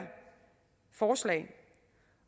forslag